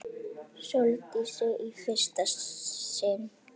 Sóldísi í fyrsta sinn.